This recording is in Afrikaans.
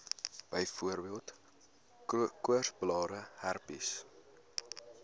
byvoorbeeld koorsblare herpes